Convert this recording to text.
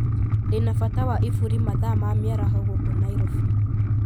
Ndĩ na bata wa iburi mathaa ma miaraho guku nairobi